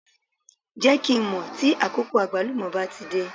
Jẹ́ kí n mọ̀ tí àkókò Àgbálùmọ́ bá ti dé.